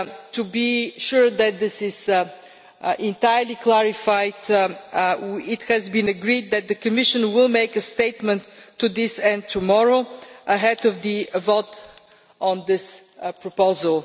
To be sure that this is entirely clarified, it has been agreed that the Commission will make a statement to this end tomorrow, ahead of the vote on this proposal.